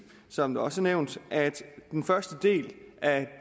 som det også er nævnt at den første del af